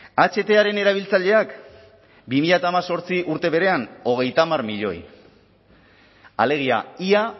ahtaren erabiltzaileak bi mila hemezortzi urte berean hogeita hamar milioi alegia ia